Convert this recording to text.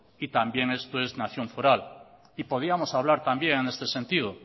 y también esto es nación foral y podíamos hablar también en este sentido